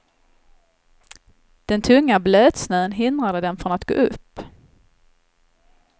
Den tunga blötsnön hindrade dem från att gå upp.